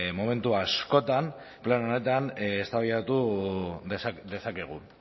momentu askotan plan honetan eztabaidatu dezakegu